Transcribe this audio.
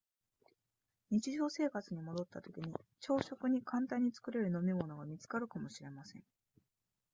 日常生活に戻ったときに朝食に簡単に作れる飲み物が見つかるかもしれません